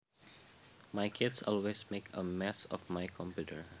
My kids always make a mess of my computer